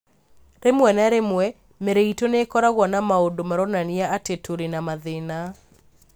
Rĩmwe na rĩmwe, mĩĩrĩ itũ nĩ ĩkoragwo na maũndũ maronania atĩ tũrĩ na mathĩna.